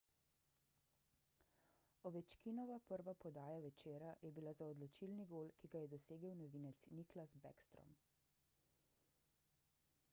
ovečkinova prva podaja večera je bila za odločilni gol ki ga je dosegel novinec nicklas backstrom